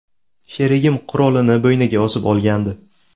Sherigim qurolini bo‘yniga osib olgandi.